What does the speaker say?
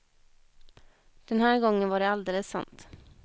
Den här gången var det alldeles sant.